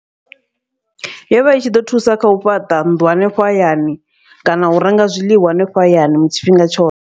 Yovha i tshi ḓo thusa khau fhaṱa nnḓu hanefho hayani, kana u renga zwiḽiwa hanefho hayani tshifhinga tshoṱhe.